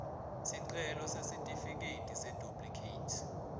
sicelo sesitifiketi seduplikhethi